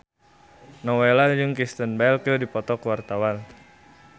Nowela jeung Kristen Bell keur dipoto ku wartawan